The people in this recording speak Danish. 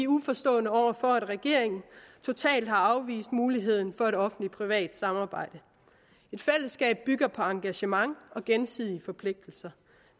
uforstående over for at regeringen totalt har afvist muligheden for et offentlig privat samarbejde et fællesskab bygger på engagement og gensidige forpligtigelser